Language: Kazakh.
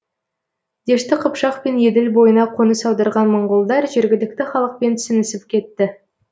дешті қыпшақ пен еділ бойына қоныс аударған моңғолдар жергілікті халықпен сіңісіп кетті